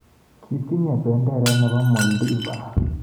Kitinyei benderet nebo Moldiva?